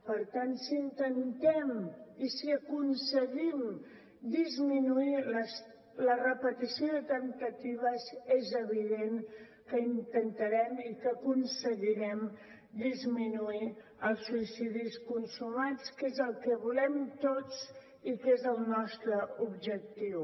per tant si intentem i si aconseguim disminuir la repetició de temptatives és evident que intentarem i que aconseguirem disminuir els suïcidis consumats que és el que volem tots i que és el nostre objectiu